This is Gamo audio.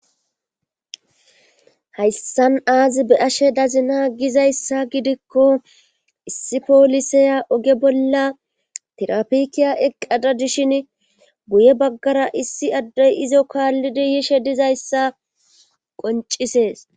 hayssan aazi be ashe dazina gizayssa gidikko issi poolisaya oge bolla tirapikiya eqqada dishin guye baggara issi addey izo kaallidi yishe dizayssa qoncisees